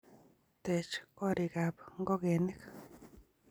teech gorikab ngokenik